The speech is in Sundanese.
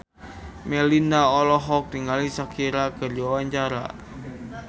Melinda olohok ningali Shakira keur diwawancara